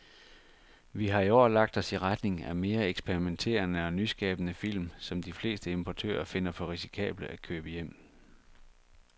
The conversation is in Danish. Vi har i år lagt os i retning af mere eksperimenterede og nyskabende film, som de fleste importører finder for risikable at købe hjem.